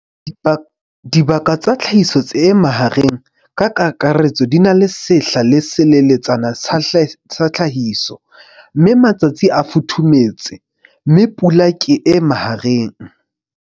Dibaka tsa tlhahiso e mahareng, ka kakaretso di na le sehla se seleletsana sa tlhahiso, mme matsatsi a futhufuthumetse, mme pula ke e mahareng.